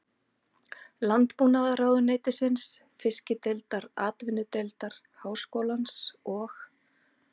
Landbúnaðarráðuneytisins, Fiskideildar Atvinnudeildar Háskólans og